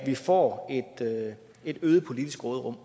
vi får et øget politisk råderum